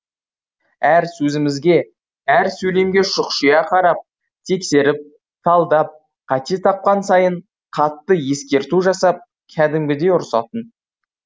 әр сөзімізге әр сөйлемге шұқшия қарап тексеріп талдап қате тапқан сайын қатты ескерту жасап кәдімгідей ұрсатын